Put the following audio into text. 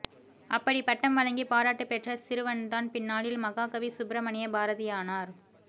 அப்படிப் பட்டம் வழங்கி பாராட்டுப் பெற்ற சிறுவன்தான் பின்னாளில் மகாகவி சுப்பிரமணிய பாரதியானார்